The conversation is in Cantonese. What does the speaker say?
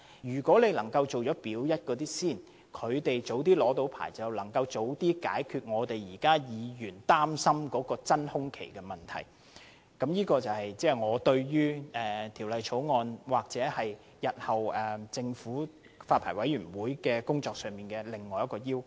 如果當局能夠先檢視"表一"的龕場，讓它們早日獲發牌照，便可早些解決議員現時所擔心的真空期問題；這亦是我對《條例草案》，或日後發牌委員會的工作所提出的另一個要求。